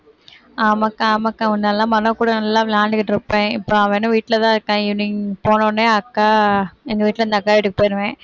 ஆமாக்கா ஆமாக்கா முன்னெல்லாம் மனோ கூட நல்லா விளையாண்டுகிட்டிருப்பேன், இப்ப அவனும் வீட்டில தான் இருக்கான் evening போனவுடனே அக்கா எங்க வீட்டில இருந்து அக்கா வீட்டுக்கு போயிருவேன்